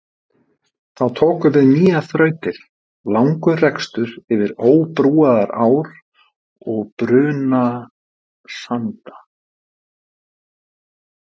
Þá tóku við nýjar þrautir, langur rekstur yfir óbrúaðar ár og brunasanda.